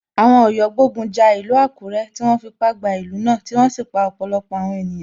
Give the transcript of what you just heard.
Àwọn Ọ̀yọ́ gbógun ja ìlú Àkúré, tí wọ́n fipá gba ìlú náà tí wọ́n sì pa ọ̀pọ̀lọpọ̀ àwọn ènìyàn.